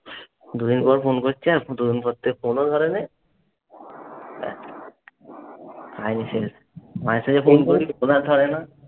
দুদিন পর ফোন করছি আর দুদিন পর থেকে ফোনও ধরে নাই মা এসে গেছে। ধরে না।